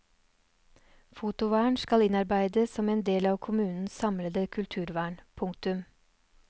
Fotovern skal innarbeides som en del av kommunens samlede kulturvern. punktum